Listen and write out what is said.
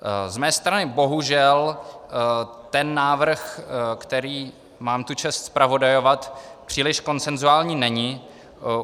Z mé strany bohužel ten návrh, který mám tu čest zpravodajovat, příliš konsenzuální není.